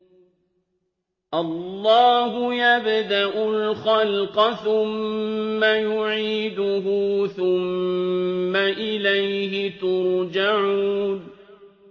اللَّهُ يَبْدَأُ الْخَلْقَ ثُمَّ يُعِيدُهُ ثُمَّ إِلَيْهِ تُرْجَعُونَ